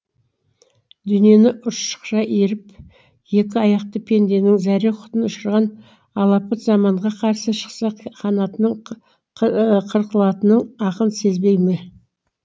дүниені ұршықша үйіріп екі аяқты пенденің зәре құтын ұшырған алапат заманға қарсы шықса қанатының қырқылатынын ақын сезбей ме